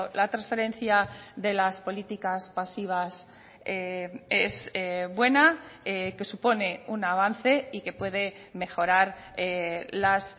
la transferencia de las políticas pasivas es buena que supone un avance y que puede mejorar las